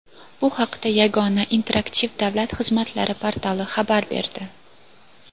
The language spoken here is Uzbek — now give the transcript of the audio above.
Bu haqda Yagona interaktiv davlat xizmatlari portali xabar berdi.